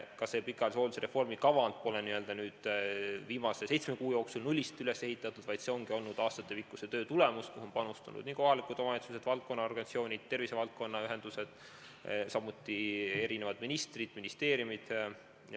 Ka see pikaajalise hooldusreformi kava pole viimase seitsme kuu jooksul nullist üles ehitatud, vaid see ongi aastatepikkuse töö tulemus, kuhu on panustanud kohalikud omavalitsused, valdkonna organisatsioonid, tervisevaldkonna ühendused, samuti ministrid ja ministeeriumid.